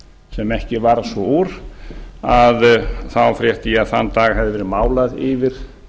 sem ekki varð svo úr þá frétti ég að þann dag hefði verið málað yfir